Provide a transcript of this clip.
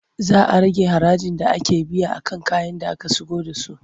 Za a rage harajin da ake biya a kan kayan da aka shigo da su.